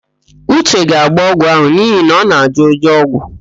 Uche ga-agbọ ọgwụ ahụ n'ihi na ọ na-ajọ ụjọ ọgwụ,